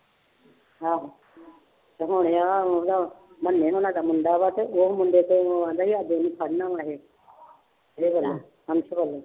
ਆਹੋ ਤੇ ਹੁਣ ਆਹ ਉਹਦਾ ਮੰਨੇ ਹੋਣਾਂ ਦਾ ਮੁੰਡਾ ਵਾ ਤੇ ਉਹ ਮੁੰਡੇ ਦੇ ਉਹ ਕਹਿੰਦਾ ਸੀ ਅੱਜ ਅਸੀਂ ਫੜਨਾ ਵਾਂ ਇਹ